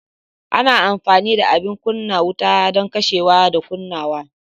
Ana amfani da abin kunna wuta don kashewa da kunnawa.